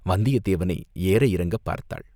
வந்தியத்தேவனை ஏற இறங்கப் பார்த்தாள்.